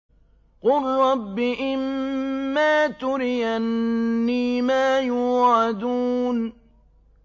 قُل رَّبِّ إِمَّا تُرِيَنِّي مَا يُوعَدُونَ